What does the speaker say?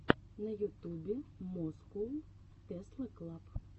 на ютубе москоу тесла клаб